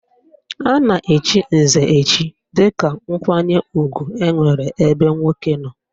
A na-echi nze echi dịka nkwanye ugwu enwere ebe nwoke nọ